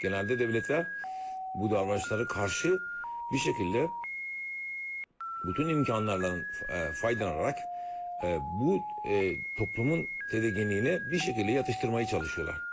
Genəldə dövlətlər bu davranışlara qarşı bir şəkildə bütün imkanlardan faydalanaraq bu toplumun tədirginliyini bir şəkildə yatıştırmağa çalışırlar.